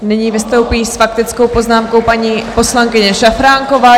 Nyní vystoupí s faktickou poznámkou paní poslankyně Šafránková.